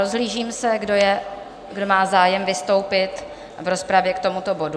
Rozhlížím se, kdo má zájem vystoupit v rozpravě k tomuto bodu?